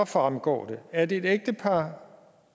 fremgår det at et ægtepar